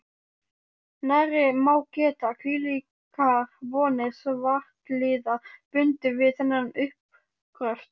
Nærri má geta, hvílíkar vonir svartliðar bundu við þennan uppgröft.